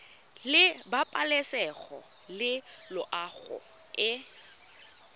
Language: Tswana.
la pabalesego le loago e